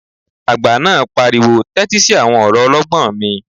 Àgbà náà pariwo 'tẹ́tí sí àwọn ọ̀rọ̀ ọlọ́gbọ́n mi'